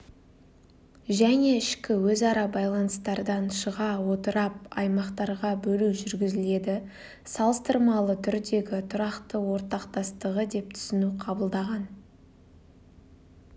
және ішкі өзара байланыстардан шыға отырап аймақтарға бөлу жүргізіледі салыстырмалы түрдегі тұрақты ортақтастығы деп түсіну қабылданған